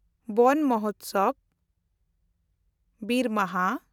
ᱣᱟᱱ ᱢᱟᱦᱚᱴᱥᱟᱣ (ᱵᱤᱨ ᱢᱟᱦᱟ)